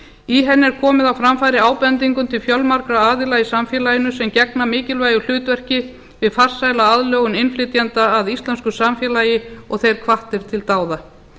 í henni er komið á framfæri ábendingum til fjölmargra aðila í samfélaginu sem gegna mikilvægu hlutverki við farsæla aðlögun innflytjenda að íslensku samfélagi og þeir hvattir til dáða